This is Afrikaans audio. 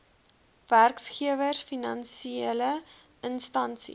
werkgewers finansiele instansies